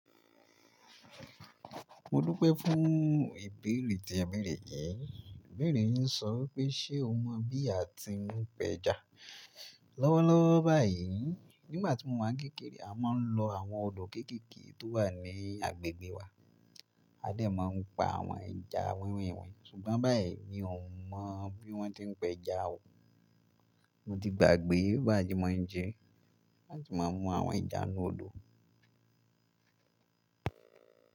Mo dúpẹ́ fún ìbéèrè tí ẹ bèrè yìí. Ibèrè yin sọ wipé ṣe o mọ bí a ti ń pẹ̀ja? Lọ́wọ́lọ́wọ́ báyìí, nígbà tí mo wáa ń kékeré a máa ń lọ àwọn odò kéékèèké tó wà ní agbègbè wa. Adé máa ń pa àwọn ẹja wẹ́wẹ́ wẹ́ ṣùgbọ́n báyìí mi ò mọ̀ bí wọ́n ti ń pẹja o. Mo ti gbàgbé bí a ti máa ń jẹ, a ti máa ń mú àwọn ẹja inú odò.